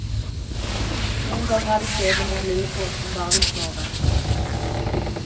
Noen ganger er det kjedelig med en lillebror som bare vil sove.